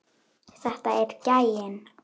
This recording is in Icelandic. Þetta er gæinn!